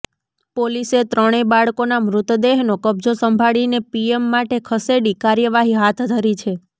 પોલીસે ત્રણેય બાળકોના મૃતદેહનો કબ્જો સંભાળીને પીએમ માટે ખસેડી કાર્યવાહી હાથ ધરી છે